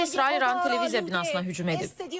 Ötən gün İsrail İranın televiziya binasına hücum edib.